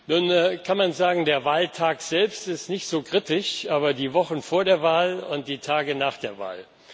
Nun kann man sagen Der Wahltag selbst ist nicht so kritisch, aber die Wochen vor der Wahl und die Tage nach der Wahl.